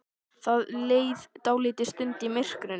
Það leið dálítil stund í myrkrinu.